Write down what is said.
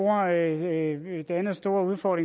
række borgmestre